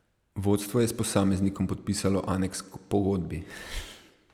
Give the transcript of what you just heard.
Vodstvo je s posameznikom podpisalo aneks k pogodbi.